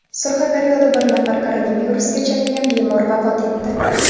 Surxondaryoda bir nafar koronavirusga chalingan bemor vafot etdi.